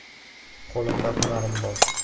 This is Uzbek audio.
Qo‘limda hunarim bor.